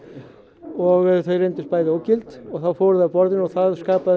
og þau reyndust bæði ógild og þá fóru þau af borðinu og það skapaði